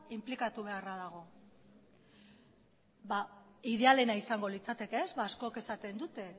inplikatu beharra dago idealena izango litzateke askok esaten dute